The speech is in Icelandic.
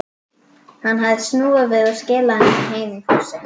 Hann hafði snúið við og skilað henni heim í fússi.